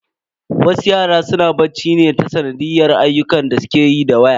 Wasu yara suna ɓaci ne ta sanadiyyar ayyukan da suke yi da waya.